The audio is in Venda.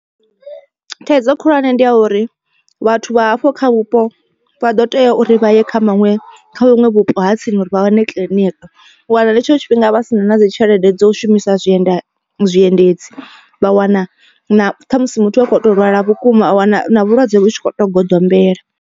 Thaidzo khulwane ndi ya uri vhathu vha hafho kha vhupo vha ḓo tea uri vha ye kha maṅwe kha vhuṅwe vhupo ha tsini uri vha wane kiḽiniki. U wana nga hetsho tshifhinga vha sina na dzi tshelede dzo shumisa zwienda zwiendedzi vha wana na ṱhamusi muthu akho to lwala vhukuma a wana vhulwadze vhu tshi kho to goḓombela.